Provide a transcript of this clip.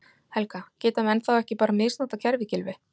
Helga: Geta menn þá ekki bara misnotað kerfið Gylfi?